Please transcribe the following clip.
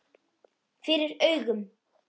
FYRIR AUGUM.